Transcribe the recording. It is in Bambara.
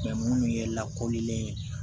minnu ye lakolilen ye